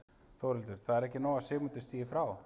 Þórhildur: Það er ekki nóg að Sigmundur stígi frá?